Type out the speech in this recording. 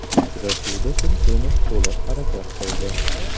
Uchrashuvda Tursunov to‘liq harakat qildi.